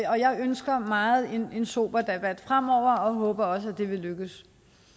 og jeg ønsker meget en sober debat fremover og håber også at det vil lykkes